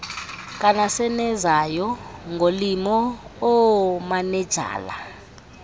kanasenezayo ngolimo oomanejala